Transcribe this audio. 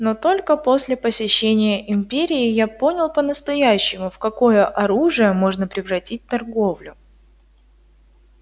но только после посещения империи я понял по настоящему в какое оружие можно превратить торговлю